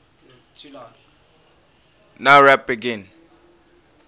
nowrap begin